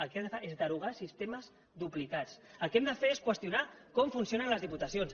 el que hem de fer és derogar sistemes duplicats el que hem de fer és qüestionar com funcionen les diputacions